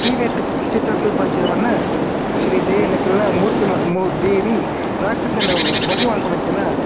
ಈ ನೆಟ್ಟ್ ಚಿತ್ರಡ್ ತೂಪಿನಂಚಿನ ಪನ್ನ ಶ್ರೀ ದೇವಿ ನಕಲ್ನ ಮೂರ್ತಿ ಮ ಮ ದೇವಿ ರಾಕ್ಷಸೆನ್ ವಧೆ ಮನ್ಪುನಂಚಿನ.